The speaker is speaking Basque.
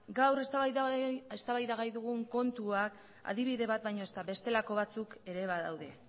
gaur eztabaidagai dugun kontua adibide bat baino ez da bestelako batzuk ere badaude